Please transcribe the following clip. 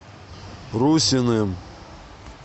русиным